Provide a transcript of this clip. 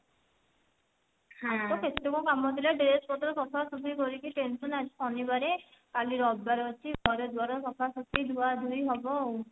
ଆଜି ତ କେତେକ କମ ଥିଲା dress ପତ୍ର ସଫା ସଫି କରିକି tension ଆଜି ଶନିବାରେ କାଲି ରବିବାରେ ଅଛି ଘର ଦ୍ଵାର ସଫାସଫି ଧୁଆଧୁଇ ହବ ଆଉ